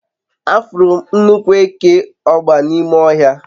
afuru m nnukwu eke ogba n'ime ohia